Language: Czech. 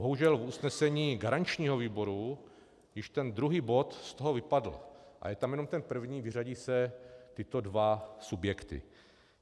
Bohužel v usnesení garančního výboru již ten druhý bod z toho vypadl a je tam jenom ten první - vyřadí se tyto dva subjekty.